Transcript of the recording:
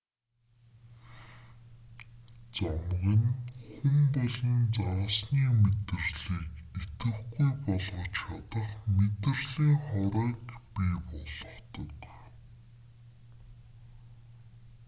замаг нь хүн болон загасны мэдрэлийг идэвхгүй болгож чадах мэдрэлийн хорыг бий болгодог